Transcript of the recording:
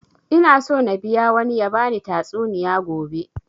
Ina so na biya wani ya bani tatsuniya gobe